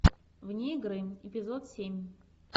вне игры эпизод семь